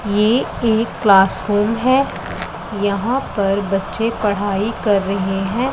ये एक क्लासरूम हैं यहां पर बच्चे पढ़ाई कर रहे हैं।